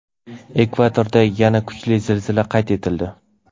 Ekvadorda yana kuchli zilzila qayd etildi.